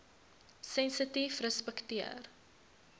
sensitiefrespekteer